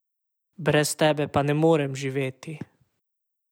Brez tebe pa ne morem živeti.